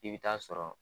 I bɛ taa sɔrɔ